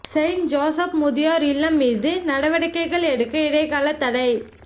Saint Joseph முதியோர் இல்லம் மீது நடவடிக்கைகள் எடுக்க இடைக்கால தடை